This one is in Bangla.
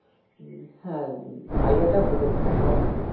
হ্যাঁ idea টা ভালো খারাপ না